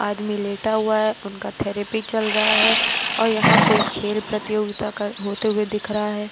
आदमी लेटा हुआ है उनका थेरपी चल रहा है औ यहाँ कोई खेल प्रतियोगिता कर् होते हुए दिख रहा है।